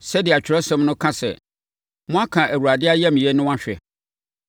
Sɛdeɛ Atwerɛsɛm no ka sɛ, “Moaka Awurade ayamyɛ no ahwɛ.”